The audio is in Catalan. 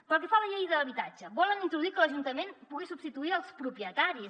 pel que fa a la llei d’habitatge volen introduir que l’ajuntament pugui substituir els propietaris